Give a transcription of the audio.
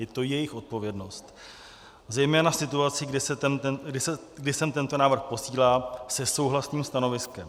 Je to jejich odpovědnost, zejména v situaci, kdy sem tento návrh posílají se souhlasným stanoviskem.